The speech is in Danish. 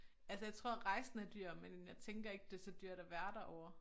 Altså jeg tror rejsen er dyr men jeg tænker ikke det så dyrt at være derovre